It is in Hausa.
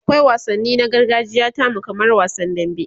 akwai wansanni na gargajiya tamu kamar wasan dambe